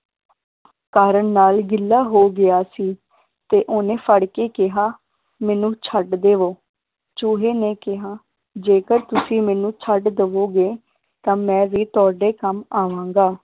ਕਾਰਨ ਨਾਲ ਗਿੱਲਾ ਹੋ ਗਿਆ ਸੀ ਤੇ ਓਹਨੇ ਫੜ ਕੇ ਕਿਹਾ ਮੈਨੂੰ ਛੱਡ ਦੇਵੋ, ਚੂਹੇ ਨੇ ਕਿਹਾ ਜੇਕਰ ਤੁਸੀ ਮੈਨੂੰ ਛੱਡ ਦੇਵੋਗੇ ਤਾਂ ਮੈ ਵੀ ਤੁਹਾਡੇ ਕੰਮ ਆਵਾਂਗਾ